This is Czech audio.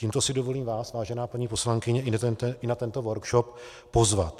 Tímto si dovolím vás, vážená paní poslankyně, i na tento workshop pozvat.